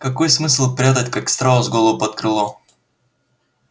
какой смысл прятать как страус голову под крыло